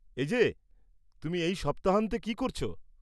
এই যে, তুমি এই সপ্তাহান্তে কি করছ?